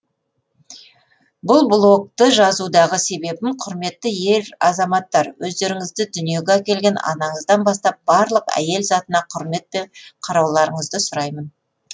бұл блокты жазудағы себебім құрметті ер азаматтар өздеріңізді дүниеге әкелген анаңыздан бастап барлық әйел затына құрметпен қарауларыңызды сұраймын